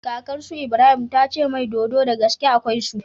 Kakar su Ibrahim tace mai dodo dagaske akwai su